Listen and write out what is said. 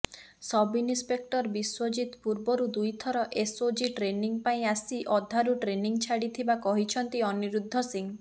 sub-inspector Biswajit ପୂର୍ବରୁ ଦୁଇଥର SOG training ପାଇଁ ଆସି ଅଧାରୁ ଟ୍ରେନିଂ ଛାଡିଥିବା କହିଛନ୍ତି ଅନିରୁଦ୍ଧ ସିଂ